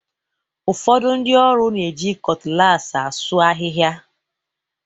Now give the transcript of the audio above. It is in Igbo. Ụfọdụ ndị ọrụ na-eji cutlass asuu ahịhịa.